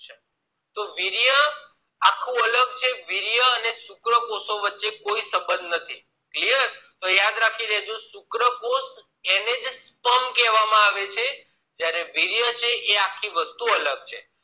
તો વીર્ય આખું અલગ છે વીર્ય અને શુક્ર્કોશો વચ્ચે કોઈ સબંધ નથી તો clear તો યાદ રાખી લેજો શુક્રકોષ એને જ sperm કહેવામાં આવે છે જયારે વીર્ય છે એ આખી વસ્તુ અલગ છે